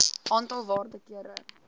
aantal waarde kere